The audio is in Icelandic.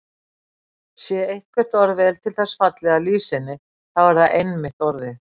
Sé eitthvert orð vel til þess fallið að lýsa henni þá er það einmitt orðið.